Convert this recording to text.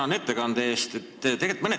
Tänan ettekande eest!